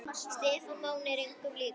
Stefán Máni er engum líkur.